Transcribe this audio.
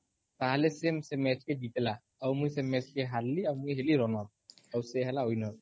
ତାହେଲେ ସେ ସେ ମ୍ୟାଚ୍ କେ ଜିତିଲା ଆଉ ମୁଇଁ ସେ ମ୍ୟାଚ୍ କେ ହାରିଲି ଆଉ ମୁଇଁ ହେଲିrunner ଆଉ ସେ ହେଲା winner